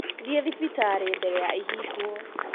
Thiĩthibitarĩmbere ya ĩhingwo.